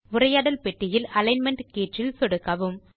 உரையாடல் பெட்டியில் அலிக்ன்மென்ட் கீற்றில் சொடுக்கவும்